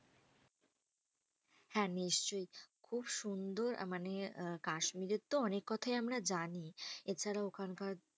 হ্যাঁ নিশ্চই, খুব সুন্দর মানে আহ কাশ্মীরের তো অনেক কথাই আমরা জানি। এছাড়া ওখানকার